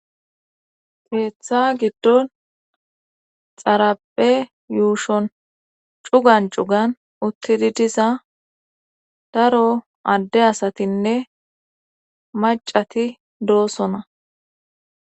Keeththa giddon xarape yuushon cugan cugan uttidi diza daro adde asatinne macati doosona